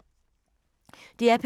DR P2